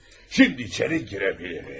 Şimdi içeri girə bilərik.